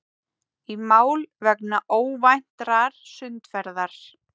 Í mál vegna óvæntrar sundferðar